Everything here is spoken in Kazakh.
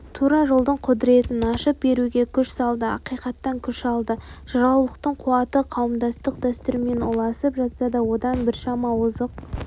тура жолдың құдіретін ашып беруге күш салды ақиқаттан күш алды жыраулықтың қуаты қауымдастық дәстүрмен ұласып жатса да одан біршама озық